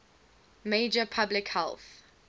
major public health